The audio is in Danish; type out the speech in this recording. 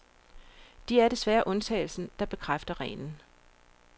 De er desværre undtagelsen, der bekræfter reglen.